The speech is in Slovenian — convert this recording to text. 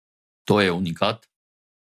To je unikat!